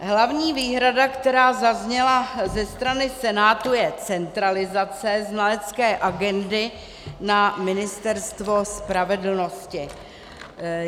Hlavní výhrada, která zazněla ze strany Senátu, je centralizace znalecké agendy na Ministerstvo spravedlnosti.